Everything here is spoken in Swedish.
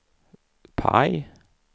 PIE